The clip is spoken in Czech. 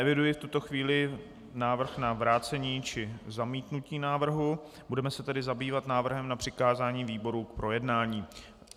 Neeviduji v tuto chvíli návrh na vrácení či zamítnutí návrhu, budeme se tedy zabývat návrhem na přikázání výborům k projednání.